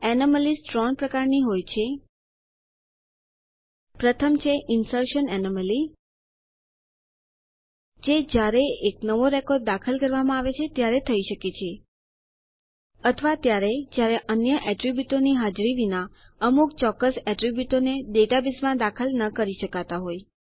anomalies ત્રણ પ્રકારની હોય છે પ્રથમ છે ઈન્સર્શન એનોમલી જે જયારે એક નવો રેકોર્ડ દાખલ કરવામાં આવે છે ત્યારે થઇ શકે છે અથવા ત્યારે જયારે અન્ય એટ્રીબ્યુટોની હાજરી વિના અમુક ચોક્કસ એટ્રીબ્યુટોને ડેટાબેઝમાં દાખલ કરી ન શકાતા હોય